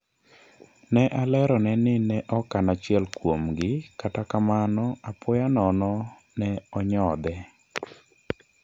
Ne alerone ni ne ok an achiel kuom "gi", kata kamano, apoya nono ne onyothe